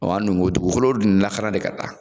Wa an dun b'o dugukolo dun lakara de ka taa